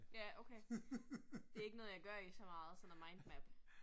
Ja okay, det ikke noget jeg gør i så meget sådan noget mind map